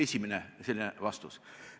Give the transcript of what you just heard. See on esimene vastus.